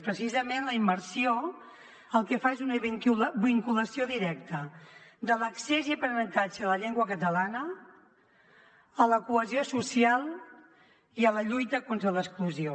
precisament la immersió el que fa és una vinculació directa de l’accés i aprenentatge de la llengua catalana a la cohesió social i a la lluita contra l’exclusió